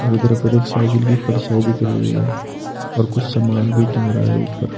इधर पर एक साइकिल की परछाई दिख रही है और कुछ समान भी टंग रहा है ऊपर।